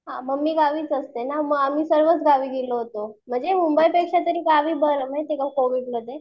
हां मम्मी गावीच असते ना, म आम्ही सर्वच गावी गेलो होतो. म्हणजे मुंबई पेक्षा तरी गावी बरं माहिती का कोविडमध्ये.